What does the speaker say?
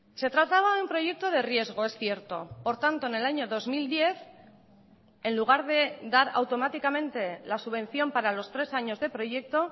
se trataba de un proyecto de riesgo es cierto por tanto en el año dos mil diez en lugar de dar automáticamente la subvención para los tres años de proyecto